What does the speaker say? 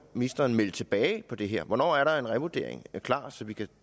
ministeren melde tilbage på det her hvornår er der en revurdering klar så vi kan